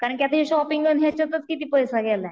कारण कि हे शॉपिंग अन ह्यांच्यातच किती पैसा गेलाय.